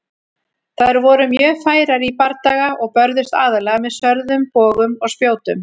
Þær voru mjög færar í bardaga og börðust aðallega með sverðum, bogum og spjótum.